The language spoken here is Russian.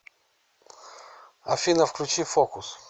афина включи фокус